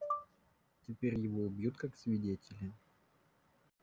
теперь его убьют как свидетеля